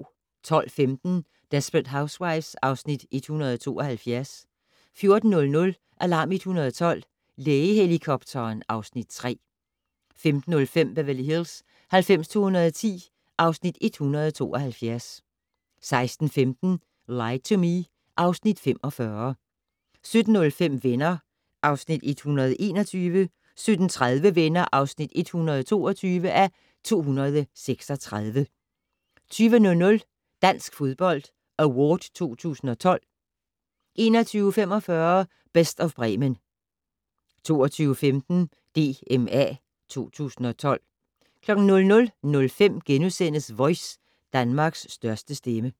12:15: Desperate Housewives (Afs. 172) 14:00: Alarm 112 - Lægehelikopteren (Afs. 3) 15:05: Beverly Hills 90210 (Afs. 172) 16:15: Lie to Me (Afs. 45) 17:05: Venner (Afs. 121) 17:30: Venner (122:236) 20:00: Dansk Fodbold Award 2012 21:45: Best of Bremen 22:15: DMA 2012 00:05: Voice - Danmarks største stemme *